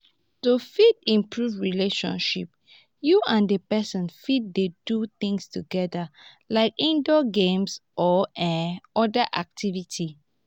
to fit improve relationship you and di person fit dey do things together like indoor games or um oda activities